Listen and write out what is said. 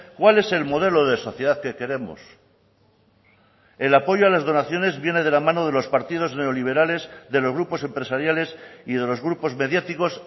cuál es el modelo de sociedad que queremos el apoyo a las donaciones viene de la mano de los partidos neoliberales de los grupos empresariales y de los grupos mediáticos